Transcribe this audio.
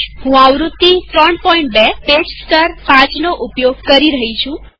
હું આવૃત્તિ ૩૨પેચ સ્તર ૫ નો ઉપયોગ કરી રહી છું